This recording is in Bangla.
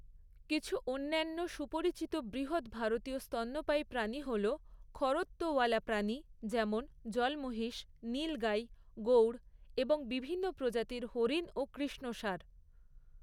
কিছু অন্যান্য সুপরিচিত বৃহৎ ভারতীয় স্তন্যপায়ী প্রাণী হল খরত্তওয়ালা প্রাণী, যেমন জল মহিষ, নীলগাই, গৌড় এবং বিভিন্ন প্রজাতির হরিণ ও কৃষ্ণসার।